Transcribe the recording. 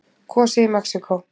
Kosið í Mexíkó